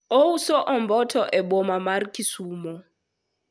ouso omboto e boma mar kisumo